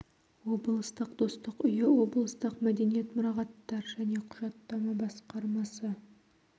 облыстық достық үйі облыстық мәдениет мұрағаттар және құжаттама басқармасы